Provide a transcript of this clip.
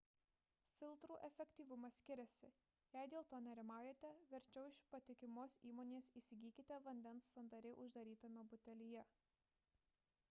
filtrų efektyvumas skiriasi jei dėl to nerimaujate verčiau iš patikimos įmonės įsigykite vandens sandariai uždarytame butelyje